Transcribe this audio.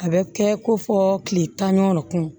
A bɛ kɛ ko fɔ kile tan ni kun